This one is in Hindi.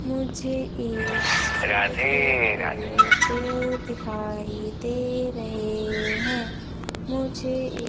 मुझे इस फोटो पे पेड़ दिखाई दे रहे हैं मुझे इ--